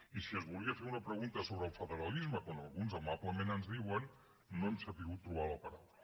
i si es volia fer una pregunta sobre el federalisme com alguns amablement ens diuen no hi hem sabut trobar la paraula